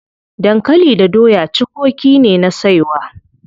Dankali da doya cukoki ne na saiwa.